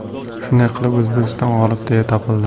Shunday qilib, O‘zbekiston g‘olib deya topildi.